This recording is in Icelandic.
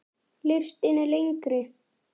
Listinn er lengri.